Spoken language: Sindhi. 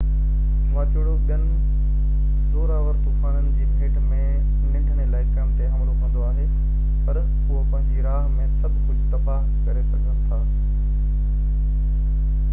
واچوڙو ٻين زور آور طوفانن جي ڀيٽ ۾ ننڍن علائقن تي حملو ڪندو آهي پر اهي پنهنجي راه ۾ سڀ ڪجهہ تباه ڪري سگهن ٿا